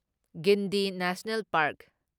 Gandhi national park